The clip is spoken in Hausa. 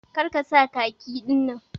Kar ka sa khaki din.